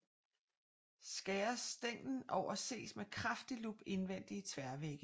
Skæres stænglen over ses med kraftig lup indvendige tværvægge